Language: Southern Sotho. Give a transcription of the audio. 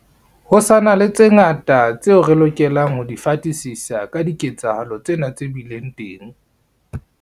Ho sa na le tse ngata tseo re lokelang ho di fatisisa ka diketsahalo tsena tse bileng teng.